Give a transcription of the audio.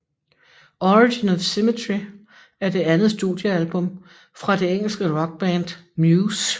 Origin of Symmetry er det andet studiealbum fra det engelske rockband Muse